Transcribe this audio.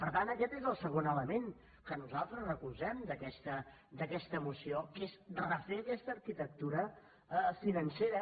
per tant aquest és el segon element que nosaltres recolzem d’aquesta moció que és refer aquesta arquitectura financera